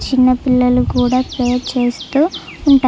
చిన్న పిల్లలు కూడా ప్రే చేస్తూ ఉంటారు.